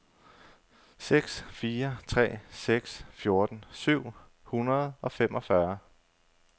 seks fire tre seks fjorten syv hundrede og femogfyrre